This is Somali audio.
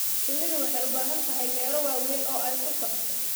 Shinnidu waxay u baahan tahay meelo waaweyn oo ay ku socoto.